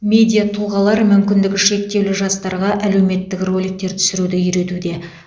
медиа тұлғалар мүмкіндігі шектеулі жастарға әлеуметтік роликтер түсіруді үйретуде